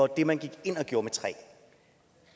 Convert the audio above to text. det man gik ind og gjorde med træ